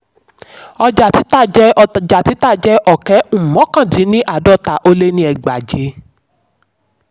ọjà títà jẹ́ ọjà títà jẹ́ ọ̀kẹ́ um mọ́kàn-dín-ní-àádọ́ta ó lé ní ẹgbàáje.